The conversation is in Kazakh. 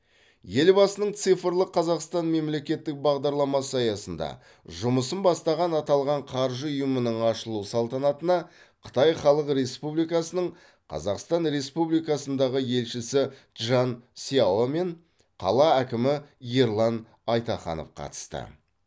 елбасының цифрлық қазақстан мемлекеттік бағдарламасы аясында жұмысын бастаған аталған қаржы ұйымының ашылу салтанатына қытай халық республикасының қазақстан республикасындағы елшісі чжан сяо мен қала әкімі ерлан айтаханов қатысты